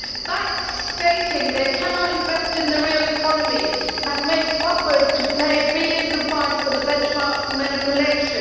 Banks, while stating that they cannot invest in the real economy, have made buffers to pay billions in fines for benchmark manipulation.